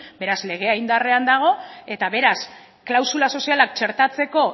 beraz legea indarrean dago eta beraz klausula sozialak txertatzeko